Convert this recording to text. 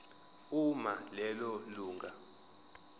uma lelo lunga